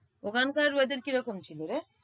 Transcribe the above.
ওখানকার weather কি রকম ছিলরে?